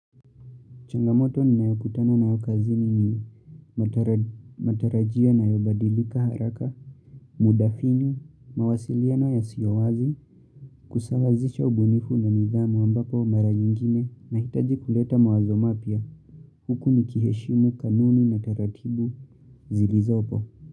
Changamoto ni nayo kutana na yo kazini ni matarajia inayobadilika haraka, muda finyo, mawasiliano yasiowazi, kusawazisha ubunifu na nidhamu ambapo mara nyingine nahitaji kuleta mawazo mapya huku nikiheshimu kanuni na taratibu zilizopo.